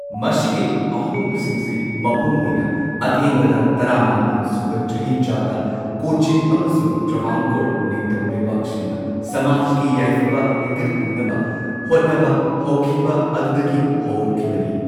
ꯃꯁꯤꯒꯤ ꯑꯍꯣꯡꯕꯁꯤꯡꯁꯤ ꯃꯄꯨꯡꯑꯣꯏꯅ ꯑꯊꯦꯡꯕꯗ ꯇꯔꯥꯃꯥꯄꯟ ꯁꯨꯕ ꯆꯍꯤꯆꯥꯗ ꯀꯣꯆꯤꯟ ꯑꯃꯁꯨꯡ ꯇ꯭ꯔꯥꯚꯥꯟꯀꯣꯔ ꯅꯤꯡꯊꯧ ꯂꯩꯕꯥꯛꯁꯤꯡꯅ ꯁꯃꯥꯖꯀꯤ ꯌꯥꯏꯐꯕ ꯍꯣꯟꯒꯠꯍꯟꯅꯕ ꯍꯣꯠꯅꯕ ꯍꯧꯈꯤꯕ ꯑꯗꯨꯗꯒꯤ ꯍꯧꯔꯛꯈꯤꯕꯅꯤ꯫